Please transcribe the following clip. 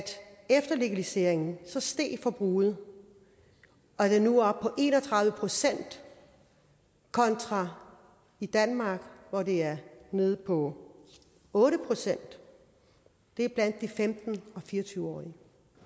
efter legaliseringen steg forbruget og det er nu oppe på en og tredive procent kontra i danmark hvor det er nede på otte procent det er blandt de femten til fire og tyve årige